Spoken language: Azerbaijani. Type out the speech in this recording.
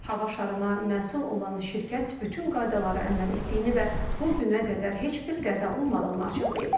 Hava şarına məsul olan şirkət bütün qaydalara əməl etdiyini və bu günə qədər heç bir qəza olmadığını açıqlayıb.